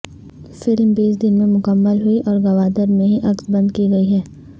film بیس دن میں مکمل ہوئی اور گوادر میں ہی عکس بند کی گئی ہے